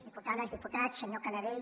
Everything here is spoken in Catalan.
diputades diputats senyor canadell